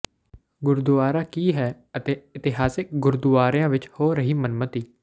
ਗੁਰਦੁਆਰਾ ਕੀ ਹੈ ਅਤੇ ਇਤਿਹਾਸਕ ਗੁਰਦੁਆਰਿਆਂ ਵਿੱਚ ਹੋ ਰਹੀ ਮਨਮਤਿ